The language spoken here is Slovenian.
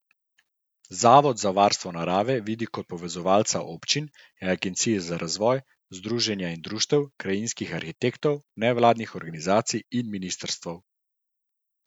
Zavod za varstvo narave vidi kot povezovalca občin, agencij za razvoj, združenj in društev, krajinskih arhitektov, nevladnih organizacij in ministrstev.